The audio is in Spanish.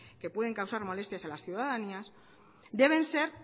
que pueden causar molestias a las ciudadanía deben ser